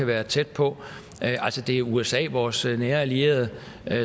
være tæt på det er usa vores nære allierede